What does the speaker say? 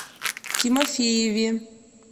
тимофееве